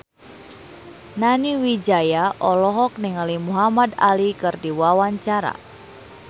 Nani Wijaya olohok ningali Muhamad Ali keur diwawancara